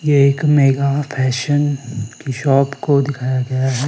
ये एक mega fashion की शॉप को दिखाया गया है।